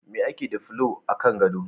Me ake da fulo a kan gado?